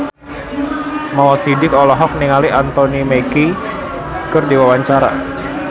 Mo Sidik olohok ningali Anthony Mackie keur diwawancara